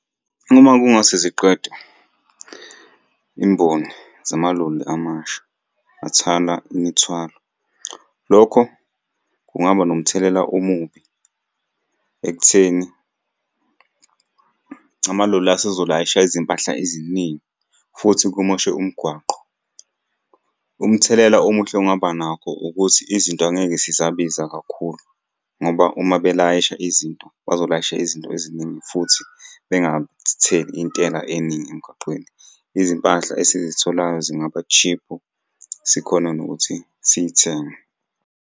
Uma kungase ziqede imboni zamaloli amasha athwala imithwalo, lokho kungaba nomthelela omubi ekutheni amaloli asezolayisha izimpahla eziningi futhi kumoshe umgwaqo. Umthelela omuhle ongaba nakho ukuthi izinto angeke zisabiza kakhulu, ngoba uma belayisha izinto bazolayisha izinto eziningi futhi bengatheli intela eningi emgaqweni. Izimpahla esizitholayo zingaba-cheap-u sikhone nokuthi siy'thenge.